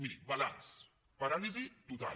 miri balanç paràlisi total